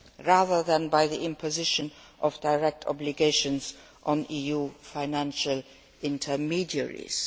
rather than by the imposition of direct obligations on EU financial intermediaries.